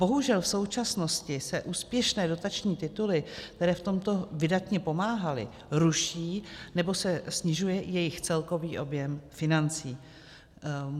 Bohužel v současnosti se úspěšné dotační tituly, které v tomto vydatně pomáhaly, ruší, nebo se snižuje jejich celkový objem financí.